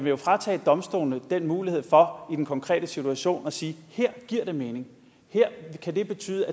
jo fratage domstolene den mulighed for i den konkrete situation at sige her giver det mening her kan det betyde